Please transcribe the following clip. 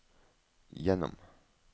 gjennom